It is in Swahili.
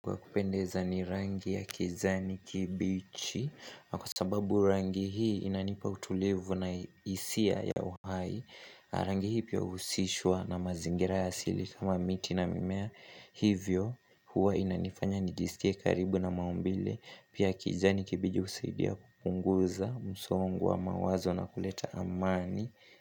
Kwa kupendeza ni rangi ya kijani kimbichi, na kwa sababu rangi hii inanipa utulivu na hisia ya uhai Rangi hii pia huhusishwa na mazingira ya asili, kama miti na mimea, hivyo huwa inanifanya nijisikie karibu na maumbile. Pia kijani kimbichi husaidia kupunguza msongo wa mawazo na kuleta amani.